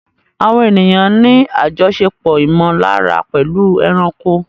Àwọn ènìyàn ní àjọṣepọ̀ ìmọ̀lára pẹ̀lú ẹranko.